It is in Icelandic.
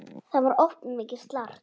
Það var oft mikið slark.